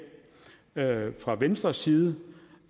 dag fra venstres side